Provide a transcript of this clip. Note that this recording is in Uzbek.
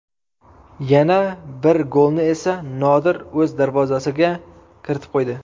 Yana bir golni esa Nodir o‘z darvozasiga kiritib qo‘ydi.